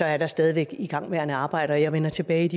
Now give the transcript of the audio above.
er der stadig væk igangværende arbejder og jeg vender tilbage